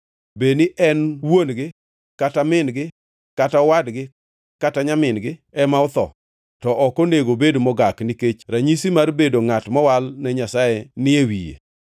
Bed ni wuon-gi kata min-gi kata owadgi kata nyamin-gi ema otho, to ok onego obed mogak, nikech ranyisi mar bedo ngʼat mowal ne Nyasaye ni e wiye.